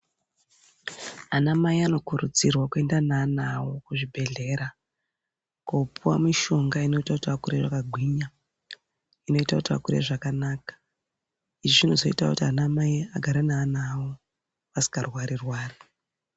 Anamai anokurudzirwa kuenda neana awo kuzvibhedhlera kopuwa mishonga inoita kuti vakure vakagwinya , inoita kuti vakure zvakanaka izvi zvinozoita kuti anamai agare neana awo asingarwari rwari.